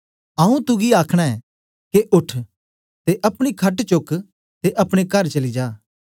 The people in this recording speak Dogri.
आऊँ तुगी आखना ऐं के उठ ते अपनी खट चोक ते अपने कार चली जा